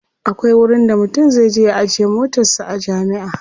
akwai wurin da mutum zai je ya ajiye motarsa a jami'a